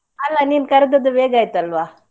ಅಲ್ಲಾ ನೀನ್ ಕರ್ದದ್ದು ಬೇಗ ಆಯ್ತಲ್ವಾ?